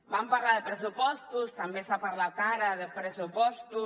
vam parlar de pressupostos també s’ha parlat ara de pressupostos